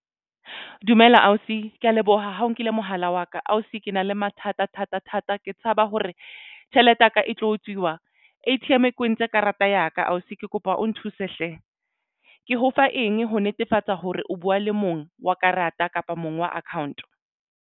Dumela ausi, ke ya leboha ha o nkile mohala wa ka ausi ke na le mathata thata thata ke tshaba hore tjhelete ya ka e tlo utswiwa A_T_M e kwentse karata ya ka ausi ke kopa o nthuse hle. Ke ho fa eng ho netefatsa hore o buwa le mong wa karata kapa mong wa account?